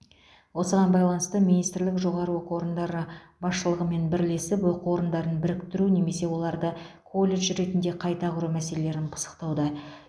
осыған байланысты министрлік жоғары оқу орындары басшылығымен бірлесіп оқу орындарын біріктіру немесе оларды колледж ретінде қайта құру мәселелерін пысықтауда